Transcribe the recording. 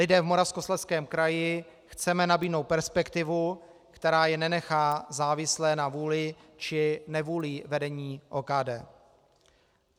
Lidem v Moravskoslezském kraji chceme nabídnout perspektivu, která je nenechá závislé na vůli či nevůli vedení OKD.